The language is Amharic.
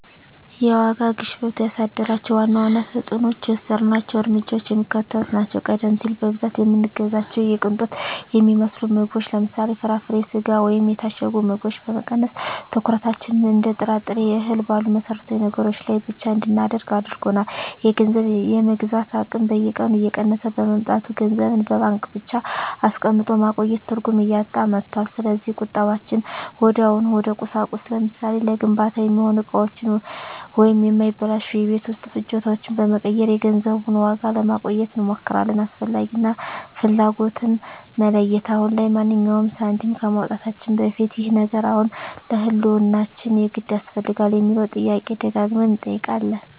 የዋጋ ግሽበቱ ያሳደራቸው ዋና ዋና ተፅዕኖዎችና የወሰድናቸው እርምጃዎች የሚከተሉት ናቸው፦ ቀደም ሲል በብዛት የምንገዛቸውን የቅንጦት የሚመስሉ ምግቦችን (ለምሳሌ፦ ፍራፍሬ፣ ስጋ ወይም የታሸጉ ምግቦች) በመቀነስ፣ ትኩረታችንን እንደ ጥራጥሬና እህል ባሉ መሠረታዊ ነገሮች ላይ ብቻ እንድናደርግ አድርጎናል። የገንዘብ የመግዛት አቅም በየቀኑ እየቀነሰ በመምጣቱ፣ ገንዘብን በባንክ ብቻ አስቀምጦ ማቆየት ትርጉም እያጣ መጥቷል። ስለዚህ ቁጠባችንን ወዲያውኑ ወደ ቁሳቁስ (ለምሳሌ፦ ለግንባታ የሚሆኑ እቃዎች ወይም የማይበላሹ የቤት ውስጥ ፍጆታዎች) በመቀየር የገንዘቡን ዋጋ ለማቆየት እንሞክራለን። "አስፈላጊ" እና "ፍላጎት"ን መለየት፦ አሁን ላይ ማንኛውንም ሳንቲም ከማውጣታችን በፊት "ይህ ነገር አሁን ለህልውናችን የግድ ያስፈልጋል?" የሚለውን ጥያቄ ደጋግመን እንጠይቃለን።